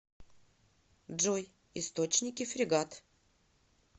джой источники фрегат